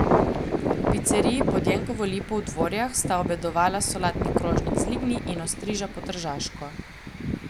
V piceriji Pod Jenkovo lipo v Dvorjah sta obedovala solatni krožnik z lignji in ostriža po tržaško.